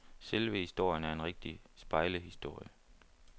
Selve historien er en rigtig spejlehistorie.